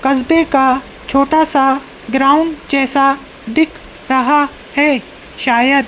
कस्बे का छोटा सा ग्राउंड जैसा दिख रहा है शायद--